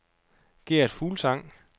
Gert Fuglsang